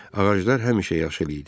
Ağaclar həmişə yaşıl idi.